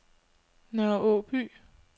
Nørre Åby